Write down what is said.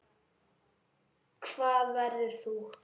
Hvar verður þú?